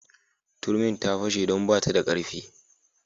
Turmin ta fashe don ba ta da karfi.